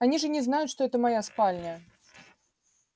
они же не знают что это моя спальня